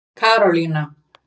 Karólína